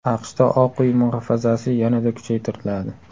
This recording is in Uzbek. AQShda Oq uy muhofazasi yanada kuchaytiriladi.